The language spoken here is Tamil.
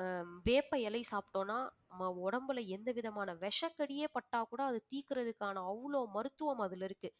ஆஹ் வேப்ப இலை சாப்பிட்டோம்ன்னா நம்ம உடம்புல எந்த விதமான விஷ கடியே பட்டா கூட அது தீர்க்கறதுக்கான அவ்வளவு மருத்துவம் அதுல இருக்கு